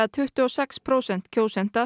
tuttugu og sex prósent kjósenda